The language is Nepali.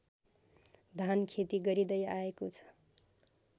धानखेती गरिँदै आएको छ